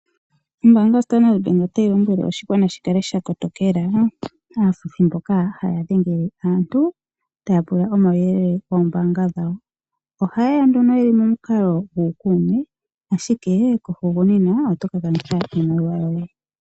Ombaanga yo Sandard bank otayi lombwele oshigwana shi kala sha kotokela aafuthi mboka haya dhengele aantu taya pula omauyelele gombaanga dhawo. Ohaye ya nduno yeli momukalo guukuume ashike kohugunina oto ka kanitha iimaliwa yoye.